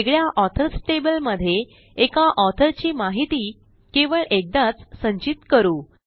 वेगळ्या authors table मध्ये एका ऑथर ची माहिती केवळ एकदाच संचित करू